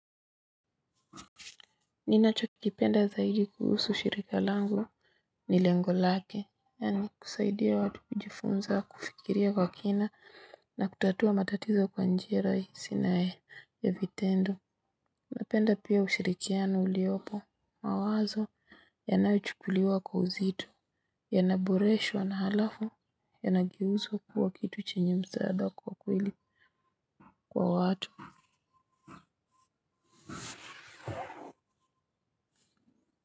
Ninachokipenda zaidi kuhusu shirika langu ni lengo lake, yaani kusaidia watu kujifunza, kufikiria kwa kina na kutatua matatizo kwa njia rahisi na ya vitendo. Napenda pia ushirikiano uliopo, mawazo yanayochukuliwa kwa uzito, yanaboreshwa na alafu yanageuzwa kuwa kitu chenye msaada kwa kweli kwa watu.